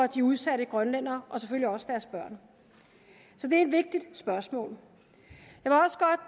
de udsatte grønlændere og selvfølgelig også deres børn så det er et vigtigt spørgsmål